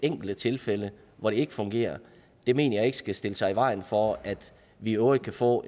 enkelte tilfælde hvor det ikke fungerer mener jeg ikke skal stille sig i vejen for at vi i øvrigt kan få